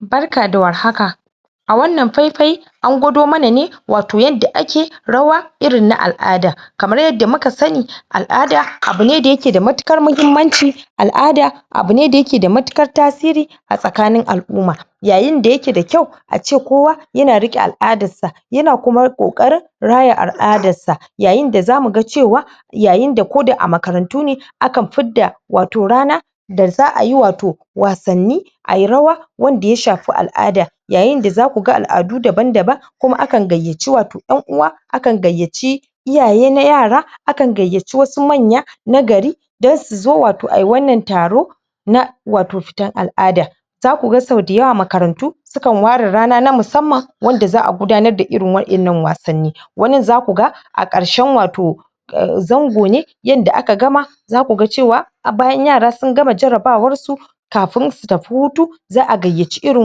Barka da warhaka a wannan faifai an gwado mana ne wato yadda ake rawa irin na al'ada kamar yadda muka sani al'ada abu ne da ya ke da matukar mahimanci al'ada abu ne da yake da matukar tasiri a tsakanin al'uma yayin da ya ke da kyau a ce kowa ya na ruke al'adar sa ya na kuma kokarin raya al'adar sa yayin da za mu gan cewa yayin da ko da a makarantu ne a kan fidda wato rana da za ayi wato wasanni ayi rawa wanda ya shafi al'ada yayin da za ku gan al'adu daban daban kuma akan gayaci wato 'yan uwa akan gayaci iyaye na yara akan gayace wasu manya na gari dan su zo, wato ayi wannan taro na wato fitan al'ada za ku gan, so dayawa makarantu su kan ware rana na masamman wanda za a gudanar da irin wa'en nan wasanni wannin za ku ga a karshen wato zango ne yanda aka gama za ku gan cewa har bayan yara, sun gama jarabawar su kafin su tafi hutu za a gayaci irin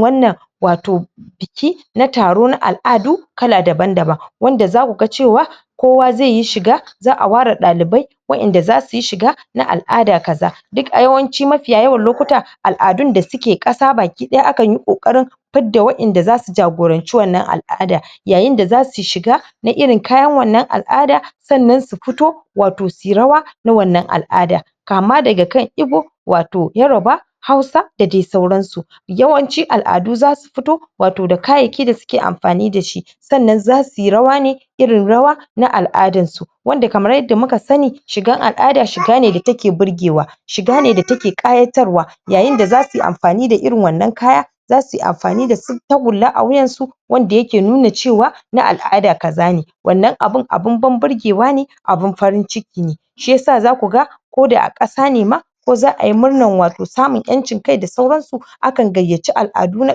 wannan wato biki na taro, na al'adu kala daban daban wanda za ku gan cewa kowa zai yi shiga za a wara dalibai wa'en da za su yi shiga na al'ada kaza duk a yawanci mafiya yawan lokuta al'adun da su ke qasa bakidaya, a kan yi kokarin fidda wa'en da za su jagorance wannan al'ada yayin da za su shiga na irin kayan wannan al'ada sannan su fito wato su yi rawa na wannan al'ada kama daga kan igbo wato yoruba hausa da dai sauran su yawanci al'adu za su fito wato da kayeki da su ke amfani da shi sannan za su yi rawa ne irin rawa na al'adan su wanda kamar yadda mu ka sani shigan al'ada, shiga ne da ta ke burgewa shiga ne da ta ke qayatar wa yayin da za su yi amfani da irin wannan kaya za su yi amfani da su tagurla a wuyan su wanda ya ke nuna cewa na al'ada kaza ne wannan abun, abun ban burgewa ne abun farin ciki ne shiyasa za ku gan ko da a qasa ne ma ko za ayi murnan wato samun 'yancin kai da sauran su a kan gayaci al'adu na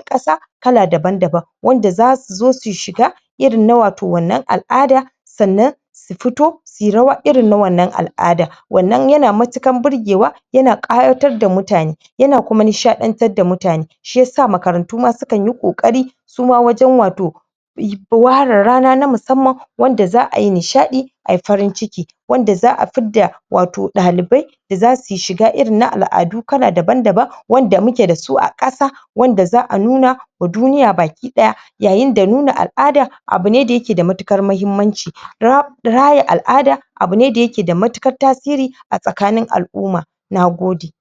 qasa kala daban daban wanda za su zo su shiga irin na wato wannan al'ada sannan su fito su yi rawa irin na wannan al'ada wannan ya na matukar burgewa yina kayatar da mutane yi na kuma nisha'yantar da mutane shiyasa makarantu ma su kan yi kokari su ma wajen wato wara rana na masamman wanda za a yi nisha'i ayi farin ciki wanda za a fidda wato dalibai da za su yi shiga irin na al'adu kala daban daban wanda mu ke da su a qasa wanda za a nuna wa duniya baki daya yayin da nuna al'ada abu ne da yake da matukar mahimanci raya al'ada abu ne da yake da matukar tasiri a tsakanin al'uma na gode